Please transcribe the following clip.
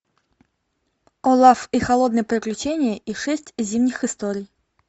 олаф и холодное приключение и шесть зимних историй